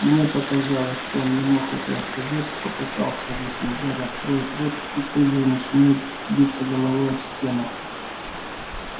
мне показалось что он не мог этого сказать попытался объяснить гарри откроет рот и тут же начинает биться головой об стену